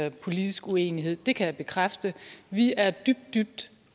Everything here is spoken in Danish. en politisk uenighed det kan jeg bekræfte vi er dybt dybt